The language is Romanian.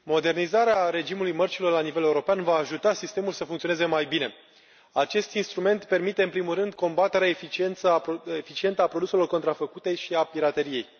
Domnule președinte, modernizarea regimului mărcilor la nivel european va ajuta sistemul să funcționeze mai bine. Acest instrument permite în primul rând combaterea eficientă a produselor contrafăcute și a pirateriei.